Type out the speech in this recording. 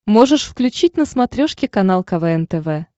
можешь включить на смотрешке канал квн тв